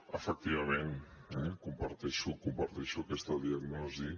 efectivament eh comparteixo aquesta diagnosi